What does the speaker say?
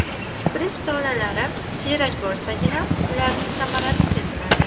Kiprik tolalari siyrak bo‘lsagina ularning samarasi seziladi.